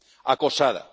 Acosada.